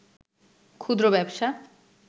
ক্ষুদ্র ব্যবসা